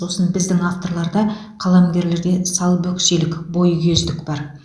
сосын біздің авторларда қаламгерлерде салбөкселік бойкүйездік бар